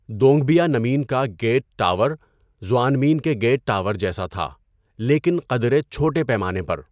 Dongbianmen کا gate tower زؤآنمین کے گیٹ ٹاور جیسا تھا، لیکن قدرے چھوٹے پیمانے پر۔